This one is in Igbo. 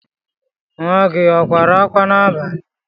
Nwa gị kwara akwa n'abalị?